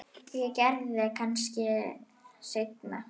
Ég geri það kannski seinna.